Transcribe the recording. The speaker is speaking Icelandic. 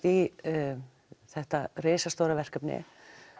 í þetta risastóra verkefni